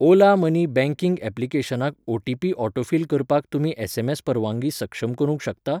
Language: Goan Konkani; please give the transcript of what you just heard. ओला मनी बँकिंग ऍप्लिकेशनाक ओटीपी ऑटोफिल करपाक तुमी एसएमएस परवानगी सक्षम करूंक शकता?